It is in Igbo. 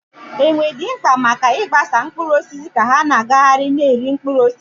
Enwe dị mkpa maka ịgbasa mkpụrụ osisi ka ha na-agagharị na-eri mkpụrụ osisi.